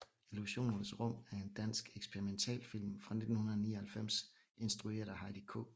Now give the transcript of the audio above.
Illusionernes rum er en dansk eksperimentalfilm fra 1999 instrueret af Heidi K